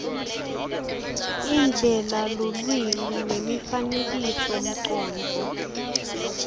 indlela lulwimi nemifanekisomcondvo